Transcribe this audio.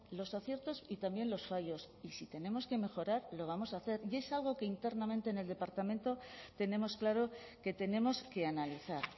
los aciertos y también los fallos y si tenemos que mejorar lo vamos a hacer y es algo que internamente en el departamento tenemos claro que tenemos que analizar